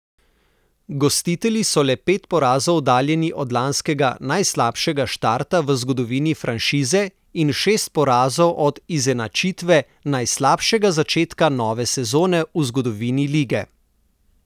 Gostitelji so le pet porazov oddaljeni od lanskega najslabšega štarta v zgodovini franšize in šest porazov od izenačitve najslabšega začetka nove sezone v zgodovini lige.